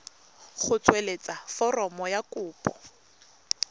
go tsweletsa foromo ya kopo